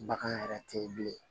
Bagan yɛrɛ tɛ ye bilen